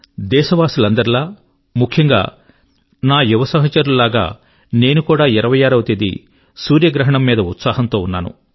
దేశవాసులందరిలా ముఖ్యంగా నా యువ సహచరుల వలెనే నేను కూడా 26 వ తేది సూర్యగ్రహణం మీద ఉత్సాహంతో ఉన్నాను